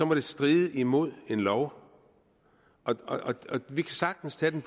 må det stride imod en lov vi kan sagtens tage den